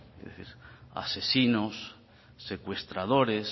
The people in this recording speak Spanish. es decir asesinos secuestradores